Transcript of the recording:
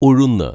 ഉഴുന്ന്